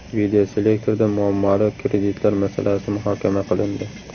Videoselektorda muammoli kreditlar masalasi muhokama qilindi.